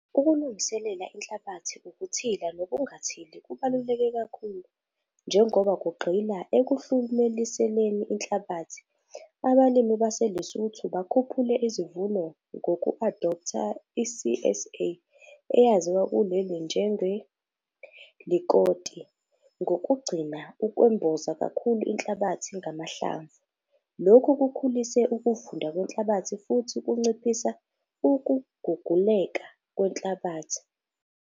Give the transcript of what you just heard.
Ukulungiselela inhlabathi ukuthila nokungathili kubaluleke kakhulu - njengoba kugxila ekuhlumeleliseni inhlabathi. Abalimi baseLesotho bakhuphule izivuno ngoku-adoptha i-CSA, eyaziwa kuleli njenge-likoti, ngokugcina ukwemboza kakhulu inhlabathi ngamahlamvu. Lokhu kukhulise ukuvunda kwenhlabathi futhi kunciphisa ukuguguleka kwenhlabathi.